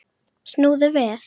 Snúðu við!